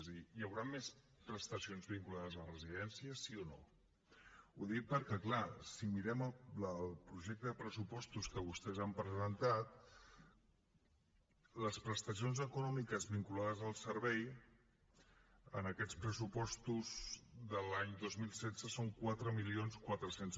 és a dir hi haurà més prestacions vinculades a les residències sí o no ho dic perquè clar si mirem el projecte de pressupostos que vostès han presentat les prestacions econòmiques vinculades al servei en aquests pressupostos de l’any dos mil setze són quatre mil quatre cents